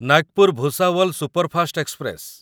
Nagpur Bhusawal superfast express